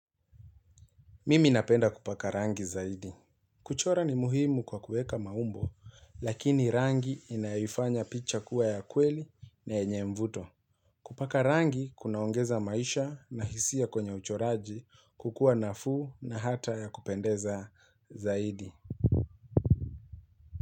Mimi napenda kupaka rangi zaidi. Kuchora ni muhimu kwa kuweka maumbo, lakini rangi inaifanya picha kuwa ya kweli na yenye mvuto. Kupaka rangi kunaongeza maisha na hisia kwenye uchoraji, kukuwa nafuu na hata ya kupendeza zaidi.